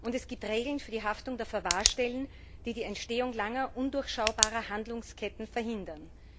Und es gibt Regeln für die Haftung der Verwahrstellen, die die Entstehung langer, undurchschaubarer Handlungsketten verhindern.